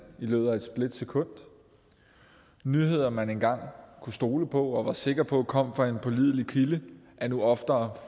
i løbet af et splitsekund nyheder man engang kunne stole på og var sikker på kom fra en pålidelig kilde er nu oftere